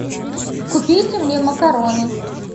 купите мне макароны